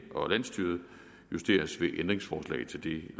og landsstyret justeres ved ændringsforslag til det